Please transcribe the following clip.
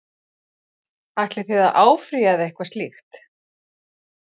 Ætlið þið að áfrýja eða eitthvað slíkt?